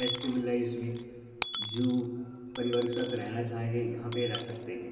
मे परिवार के साथ रेहना चाहेंगे यहां पे रेह सकते हैं।